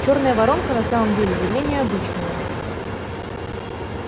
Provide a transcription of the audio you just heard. чёрная воронка на самом деле явление обычное